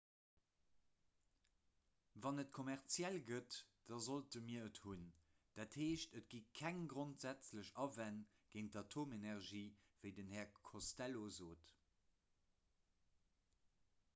wann et kommerziell gëtt da sollte mir et hunn dat heescht et gi keng grondsätzlech awänn géint d'atomenergie wéi den här costello sot